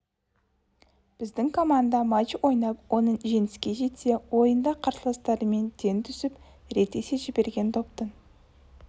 біздің команда матч ойнап оның жеңіске жетсе ойында қарсыластарымен тең түсіп рет есе жіберген доптың